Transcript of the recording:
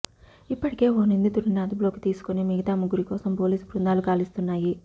ఇప్పటికే ఓ నిందితుడిని అదుపులోకి తీసుకుని మిగతా ముగ్గురి కోసం పోలీసు బృందాలు గాలిస్తున్నాయి